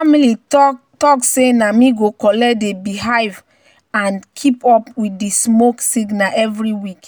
"family talk say na me go collect di beehive and keep up with di smoke signal every week."